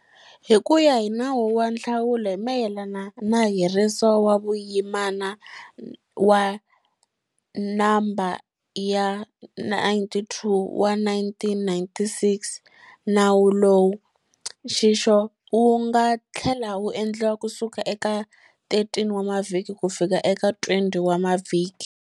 Hi ku ya hi Nawu wa Nhlawulo hi mayelana na Heriso wa Vuyimana wa No ya 92 wa 1996, Nawu lowu, nxixo wu nga tlhela wu endliwa kusuka eka 13 wa mavhiki kufika eka 20 wa mavhiki